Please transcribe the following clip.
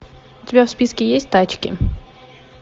у тебя в списке есть тачки